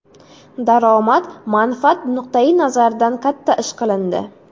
Daromad, manfaat nuqtai nazaridan katta ish qilindi.